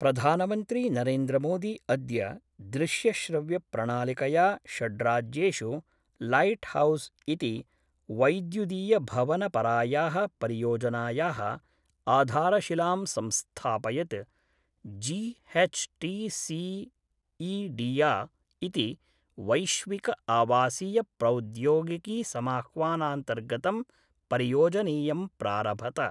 प्रधानमन्त्री नरेन्द्रमोदी अद्य दृश्यश्रव्यप्रणालिकया षड्राज्येषु लैट् हौस् इति वैद्युदीयभवनपराया: परियोजनाया: आधारशिलां संस्थापयत्। जीएचटीसीइडिया इति वैश्विकआवासीयप्रौद्योगिकीसमाह्वानान्तर्गतं परियोजनेयं प्रारभत।